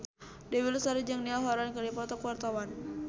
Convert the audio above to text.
Dewi Lestari jeung Niall Horran keur dipoto ku wartawan